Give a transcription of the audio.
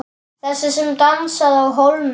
Þessi sem dansaði á hólnum.